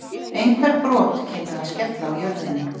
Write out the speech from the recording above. einhver brot kynnu að skella á jörðinni